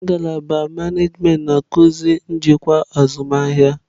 Ngalaba manajimentị na-akụzi njikwa azụmahịa.